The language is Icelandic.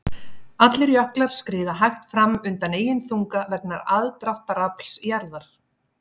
Allir jöklar skríða hægt fram undan eigin þunga vegna aðdráttarafls jarðar.